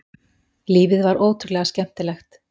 Lífið var ótrúlega skemmtilegt.